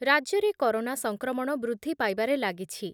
ରାଜ୍ୟରେ କରୋନା ସଂକ୍ରମଣ ବୃଦ୍ଧି ପାଇବାରେ ଲାଗିଛି ।